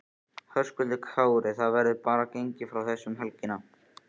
Höskuldur Kári: Það verður bara gengið frá þessu um helgina?